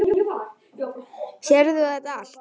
Sérð þú þetta allt?